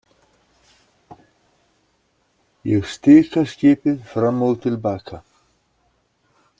Ég stika skipið fram og til baka.